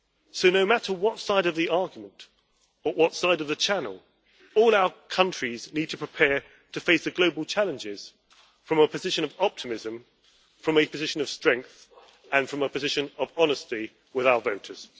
So no matter what side of the argument, or what side of the Channel, all our countries need to prepare to face the global challenges from a position of optimism, from a position of strength, and from a position of honesty with our voters.